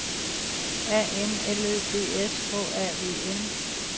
A N L Ø B S H A V N